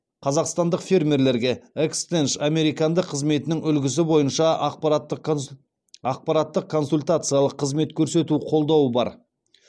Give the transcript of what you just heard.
қазақстандық фермерлерге экстенш американдық қызметінің үлгісі бойынша ақпараттық консультациялық қызмет көрсету қолдауы бар